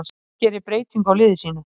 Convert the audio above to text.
Ísland gerir breytingu á liði sínu